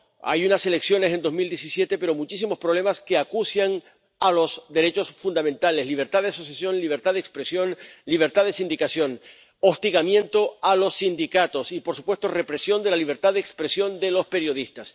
Hubo unas elecciones en 2018, pero sigue habiendo muchísimos problemas que acucian a los derechos fundamentales ——libertad de asociación, libertad de expresión, libertad de sindicación—, hostigamiento a los sindicatos y, por supuesto, represión de la libertad de expresión de los periodistas.